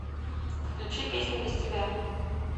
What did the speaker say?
включи песня без тебя